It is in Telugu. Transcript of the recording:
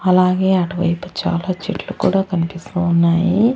అలాగే అటువైపు చాలా చెట్లు కూడా కనిపిస్తూ ఉన్నాయి.